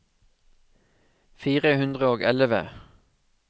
fire hundre og elleve